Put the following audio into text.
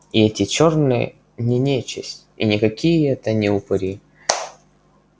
и эти чёрные не нечисть и никакие это не упыри